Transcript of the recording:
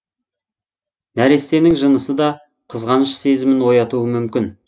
нәрестенің жынысы да қызғаныш сезімін оятуы мүмкін